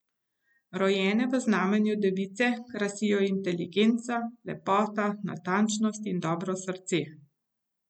Rojene v znamenju device krasijo inteligenca, lepota, natančnost in dobro srce.